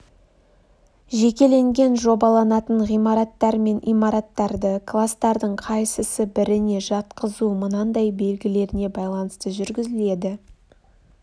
жекеленген жобаланатын ғимараттар мен имараттарды кластардың қайсысы біріне жатқызу мынандай белгілеріне байланысты жүргізіледі